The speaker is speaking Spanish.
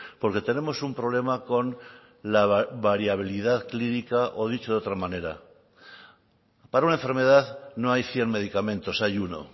porque tenemos un problema con la variabilidad clínica o dicho de otra manera para una enfermedad no hay cien medicamentos hay uno